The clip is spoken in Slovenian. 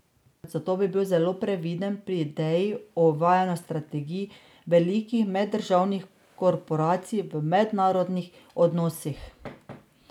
Zato bi bil zelo previden pri ideji o uvajanju strategij velikih meddržavnih korporacij v mednarodnih odnosih.